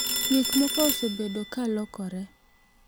Gik moko osebedo ka lokore.